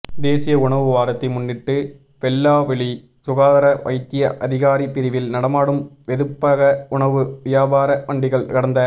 தேசிய உணவு வாரத்தை முன்னிட்டு வெல்லாவெளி சுகாதார வைத்திய அதிகாரி பிரிவில் நடமாடும் வெதுப்பக உணவு வியாபார வண்டிகள் கடந்த